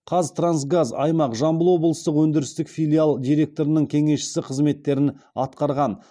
қазтрансгаз аймақ жамбыл облыстық өндірістік филиалы директорының кеңесшісі қызметтерін атқарған